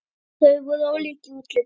Þau voru ólík í útliti.